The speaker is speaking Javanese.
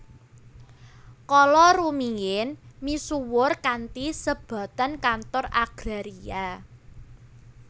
kala rumiyin misuwur kanthi sebatan Kantor Agraria